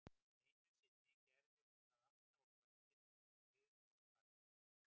Einu sinni gerði hún það alltaf á kvöldin, þegar við vorum farnir heim